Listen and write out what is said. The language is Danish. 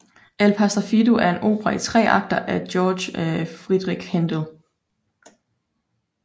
Il pastor fido er en opera i tre akter af Georg Friedrich Händel